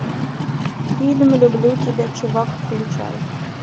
фильм люблю тебя чувак включай